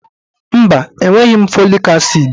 Mba, enweghị m fọlik asịd.